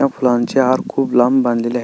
ह्या फुलांचे हार खुप लांब बांधलेले आह --